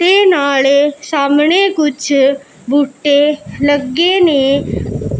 ਤੇ ਨਾਲ਼ੇ ਸਾਹਮਣੇ ਕੁਛ ਬੂਟੇ ਲੱਗੇ ਨੇਂ